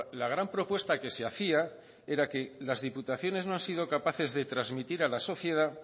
la gran propuesta que se hacía era que las diputaciones no han sido capaces de transmitir a la sociedad